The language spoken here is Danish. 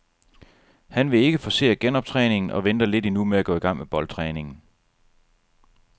Han vil ikke forcere genoptræningen og venter lidt endnu med at gå i gang med boldtræningen.